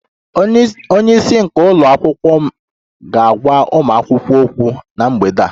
Onye isi nke ụlọ akwụkwọ m ga-agwa ụmụ akwụkwọ okwu na mgbede a